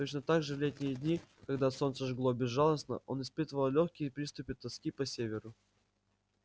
точно так же в летние дни когда солнце жгло безжалостно он испытывал лёгкие приступы тоски по северу